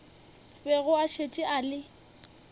bego a šetše a le